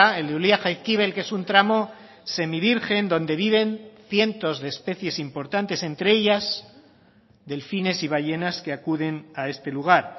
el de ulia jaizkibel que es un tramo semivirgen donde viven cientos de especies importantes entre ellas delfines y ballenas que acuden a este lugar